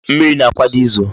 Mmiri na-akwado izo